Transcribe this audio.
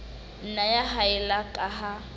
nna ya haella ka ha